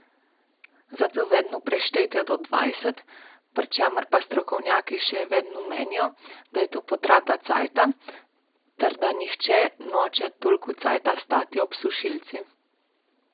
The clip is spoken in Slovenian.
Zato vedno preštejte do dvajset, pri čemer pa strokovnjaki še vedno menijo, da je to potrata časa, ter da nihče noče toliko časa stati ob sušilcu.